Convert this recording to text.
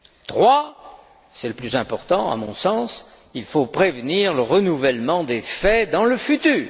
troisièmement, c'est le plus important à mon sens, il faut prévenir le renouvellement des faits dans le futur.